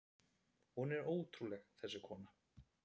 Hún var ótrúleg, þessi kona.